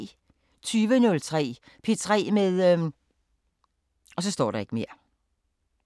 20:03: P3 med